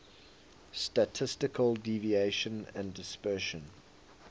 statistical deviation and dispersion